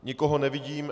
Nikoho nevidím.